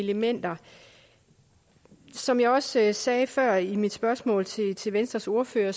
elementer som jeg også sagde før i mit spørgsmål til til venstres ordfører